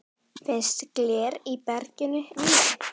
Finnst gler í berginu víða.